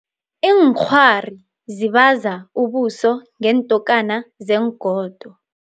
Iinkghwari zibaza ubuso ngeentokana zeengodo.